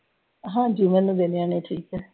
ਹਾਂਜੀ ਠੀਕ ਆ।